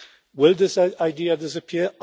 Will this idea disappear?